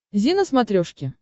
зи на смотрешке